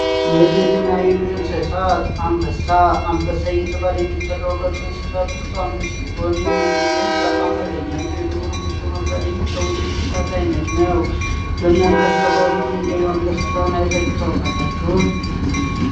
የቤትና የዱር እንበሳ እየተባለ የሚጠራውን ሰአቶች ውስጥ አንደኛው ሲሆን ይህም እንግዲህ በጣም ሃይለኛው የድሮ ንጉስ በመባል የሚታወቅ የእንስሳት አይነት ነው አካባቢ ና አንበሳ አይታችሁ ታውቃላችሁ።